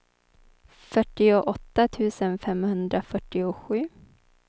fyrtioåtta tusen femhundrafyrtiosju